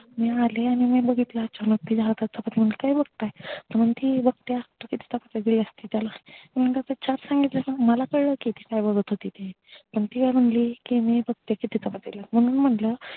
मी आले आणि मी बघितलं अचानक हातात चपात्या घेऊन काय बघताय कि म्हणती कि बघती कि किती चपात्या दिल्यास तू त्याला पण ती मला कळलं की काय बगत होती ती पण ती काय म्हणली किती चपात्या दिल्यात म्हणून म्हणल